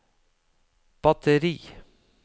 batteri